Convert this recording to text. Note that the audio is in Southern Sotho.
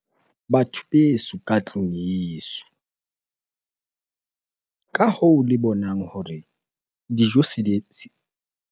Batho beso ka tlung yeso. Ka hoo le bonang hore dijo se di .